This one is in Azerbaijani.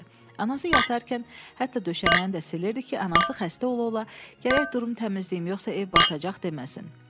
Anası yatarkən hətta döşəməni də silirdi ki, anası xəstə ola-ola gərək durub təmizləyim, yoxsa ev batacaq deməsin.